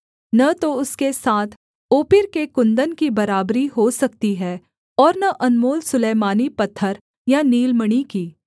न तो उसके साथ ओपीर के कुन्दन की बराबरी हो सकती है और न अनमोल सुलैमानी पत्थर या नीलमणि की